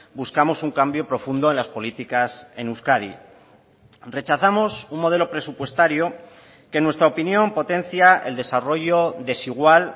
buscamos un cambio profundo en las políticas en euskadi rechazamos un modelo presupuestario que en nuestra opinión potencia el desarrollo desigual